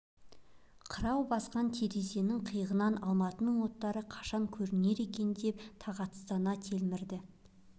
қырау басқан терезенің қиығынан алматының оттары қашан көрінер екен деп тағатсыздана телміреді